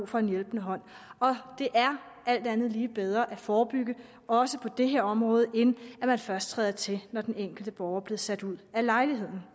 for en hjælpende hånd det er alt andet lige bedre at forebygge også på det her område end at man først træder til når den enkelte borger bliver sat ud af lejligheden